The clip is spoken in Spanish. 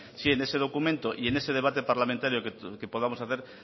si en ese documento y ese debate parlamentario que podamos hacer